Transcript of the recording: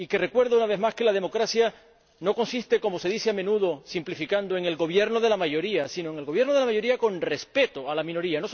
Recuerdo, una vez más, que la democracia no consiste —como se dice a menudo, simplificando— en el gobierno de la mayoría, sino en el gobierno de la mayoría con respeto a la minoría.